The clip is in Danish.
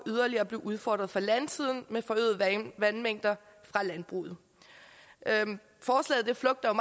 yderligere udfordret fra landsiden med forøgede vandmængder fra landbruget forslaget flugter